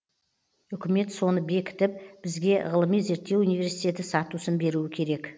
үкімет соны бекітіп бізге ғылыми зерттеу университеті статусын беруі керек